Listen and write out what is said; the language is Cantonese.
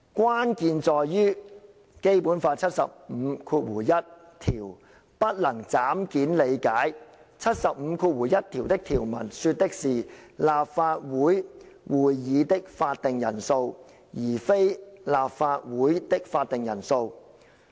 關鍵在於《基本法》第七十五條第一款不能'斬件'理解，第七十五條第一款的條文說的是'立法會會議的法定人數'而非'立法會的法定人數'。